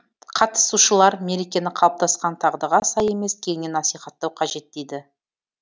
қатысушылар мерекені қалыптасқан дағдыға сай емес кеңінен насихаттау қажет дейді